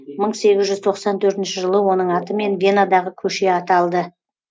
мың сегіз жүз тоқсан төртінші жылы оның атымен венадағы көше аталды